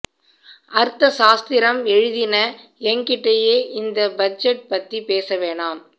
அர்த சாஸ்திரம் எழிதின எங்கிட்டேயே இந்த பட்ஜெட் பத்தி பேச வேணாம்